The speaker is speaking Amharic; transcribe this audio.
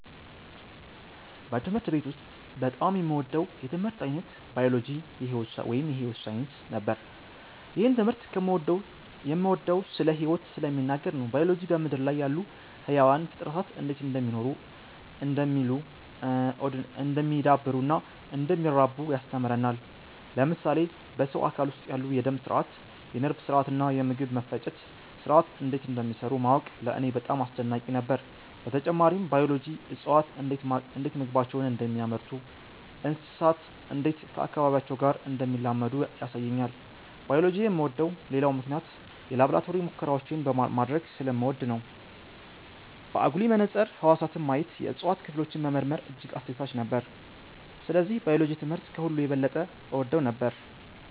በትምህርት ቤት ውስጥ በጣም የምወደው የትምህርት ዓይነት ባዮሎጂ (የሕይወት ሳይንስ) ነበር። ይህን ትምህርት የምወደው ስለ ሕይወት ስለሚናገር ነው። ባዮሎጂ በምድር ላይ ያሉ ሕያዋን ፍጥረታት እንዴት እንደሚኖሩ፣ እንደሚ� oddሉ፣ እንደሚዳብሩ እና እንደሚራቡ ያስተምረናል። ለምሳሌ በሰው አካል ውስጥ ያሉ የደም ሥርዓት፣ የነርቭ ሥርዓት እና የምግብ መፈጨት ሥርዓት እንዴት እንደሚሠሩ ማወቅ ለእኔ በጣም አስደናቂ ነበር። በተጨማሪም ባዮሎጂ እፅዋት እንዴት ምግባቸውን እንደሚያመርቱ፣ እንስሳት እንዴት ከአካባቢያቸው ጋር እንደሚላመዱ ያሳየኛል። ባዮሎጂ የምወደው ሌላው ምክንያት የላቦራቶሪ ሙከራዎችን ማድረግ ስለምወድ ነው። በአጉሊ መነጽር ህዋሳትን ማየት፣ የእጽዋት ክፍሎችን መመርመር እጅግ አስደሳች ነበር። ስለዚህ ባዮሎጂ ትምህርት ከሁሉ የበለጠ እወደው ነበር።